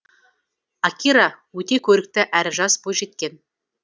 акира өте көрікті әрі жас бойжеткен